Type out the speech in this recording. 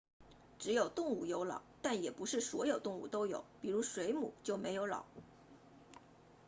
只有动物有脑但也不是所有动物都有比如水母就没有脑